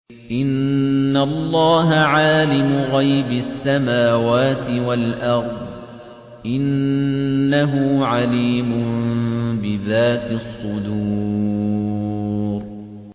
إِنَّ اللَّهَ عَالِمُ غَيْبِ السَّمَاوَاتِ وَالْأَرْضِ ۚ إِنَّهُ عَلِيمٌ بِذَاتِ الصُّدُورِ